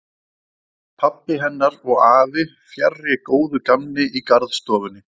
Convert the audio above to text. Pabbi hennar og afi fjarri góðu gamni í garðstofunni.